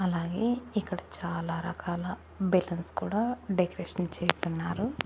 అలాగే ఇక్కడ చాలా రకాల బెలూన్స్ కూడా డెకరేషన్ చేసున్నారు.